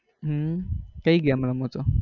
હમ કઈ game રમો છો?